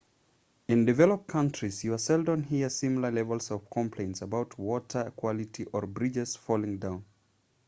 in developed countries you seldom hear similar levels of complaints about water quality or bridges falling down